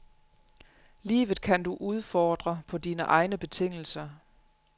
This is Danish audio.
Livet kan du udfordre på dine egne betingelser.